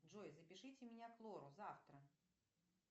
джой запишите меня к лору завтра